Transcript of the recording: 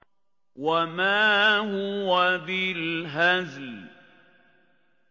وَمَا هُوَ بِالْهَزْلِ